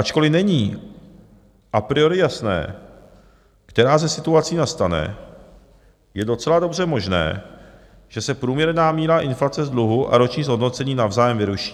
Ačkoliv není a priori jasné, která ze situací nastane, je docela dobře možné, že se průměrná míra inflace z dluhu a roční zhodnocení navzájem vyruší.